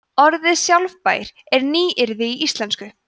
orðið sjálfbær er nýyrði í íslensku